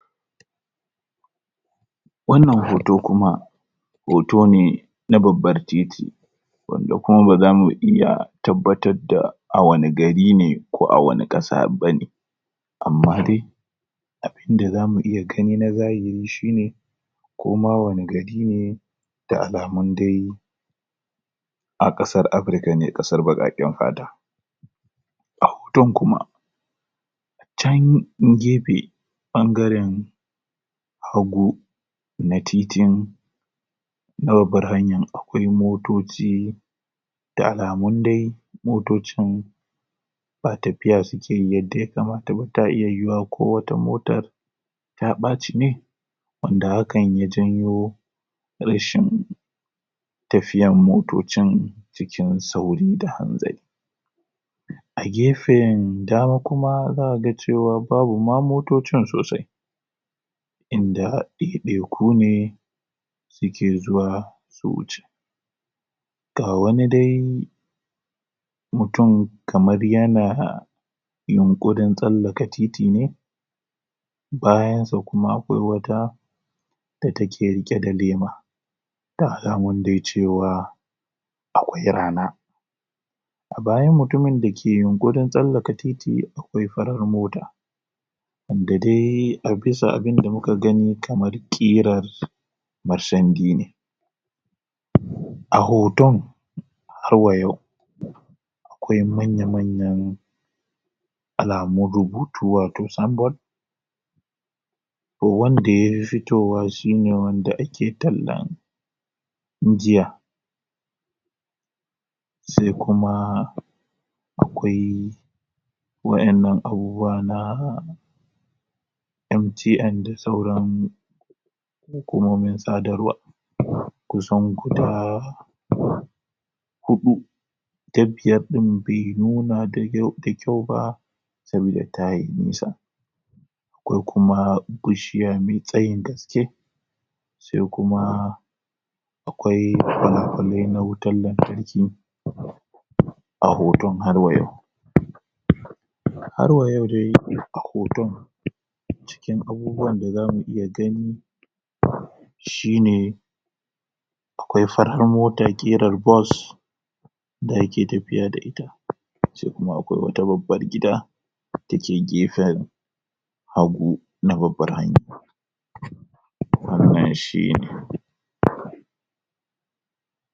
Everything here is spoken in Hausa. wannan hoto kuma hoto ne na babbar titi wanda kuma ba zamu iya tabbatarda a wanna gari ne ko a wanna ƙasa bane amma de abinda zamu iya agni na zahiri shine koma wani gari ne da alamun dai a ƙasar Africa ne ƙasar baƙaƙen fata a hoton kuma can gefe ɓangaren hagu na titin na babbar hanyan akwai motoci da alamun dai motocin ba tafiya sukeyi yadda ya kamata ba tana iya yiwuwa ko wata motar ta ɓaci ne wanda hakan ya janyo rashin tafiyan motocin cikin sauri da kuma hanzari a gefen dama kuma za'a ga cewa babu ma motocin sosai inda ɗaiɗaiku ne suke zuwa su wuce ga wani dai mutum kamar yana yunƙurin tsallaka titi ne bayansa kuma akwai wata da take riƙe da lema da alamun dai cewa akwai rana a bayan mutumin dake yunƙurin tsallaka titi akwai farar mota wanda dai bisa abinda muka gani kamar ƙirar marsandi ne a hoton harwa yau akwai manya-manyan alamun rubutu wato symbol ko wanda yafi fitowa shine wanda ake talla tun jiya sai kuma akwai waƴannan abubuwa na MTN da sauran hukumomin sadarwa kusan guda huɗu ta biyar ɗin bai nuna da kyau ba tunda tayi nisa akwai kuma bishiya mai tsayin gaske sai kuma akwai fala-falai na wutar lantarki a hoton har wa yau harwa yau dai a hoton cikin abubuwan da zamu iya gani shine akwai fara mota ƙirar golf da ake tafiya da ita se kuma akwai wata babar gida dake gefen a hagu na babbar hanya wannan shine